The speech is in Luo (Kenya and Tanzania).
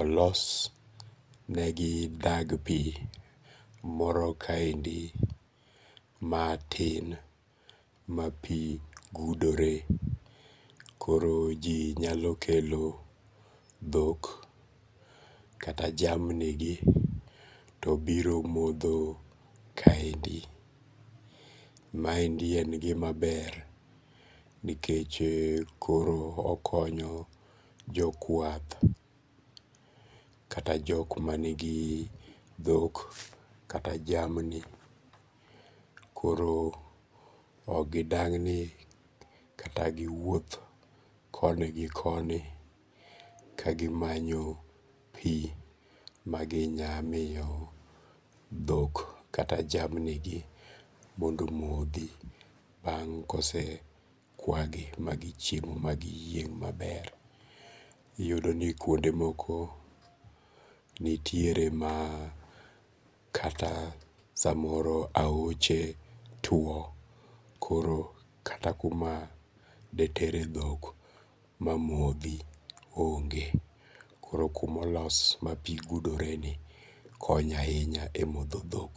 olosnegi dag pi moro kaendi mati ma pi gudore, koro ji nyalo kelo thok kata jamnigi to biro motho kaendi, maendi en gimaber nikech koro okonyo jokwath kata jok manigi thok kata jamni koro ok gi dang'ni kata giwuoth koni gi koni kagi manyo pi maginyalo pi maginyalo miyo thok kata jamnigi mondo omothi bang' kose kwagi ma gisechiemo magiyieng' maber, iyudo ni kuonde moko nitiere ma kata samoro ahoche two koro kata kuma detere thok mamothi onge' koro kuma olos ma pi gidoreni konyo ahinya e motho thok.